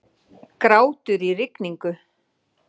Grátur í rigningu.